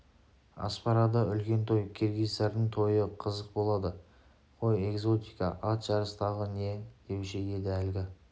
аспарада үлкен той киргиздардың тойы қызық болады ғой экзотика ат жарыс тағы не деуші еді әлгі